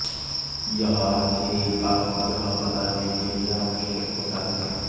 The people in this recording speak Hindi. यह आखिरी बात यह बताने के लिए आवश्यक होता है